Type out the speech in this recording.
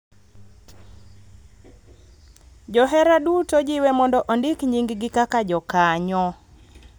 Johera duto jiwe mondo ondik nyinggi kaka jokanyo